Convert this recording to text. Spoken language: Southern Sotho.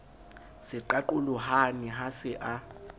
se qaqolohane ha se a